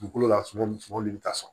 Dugukolo la suman suman bi taa so